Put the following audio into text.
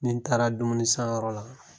Ni taara dumuni san yɔrɔ la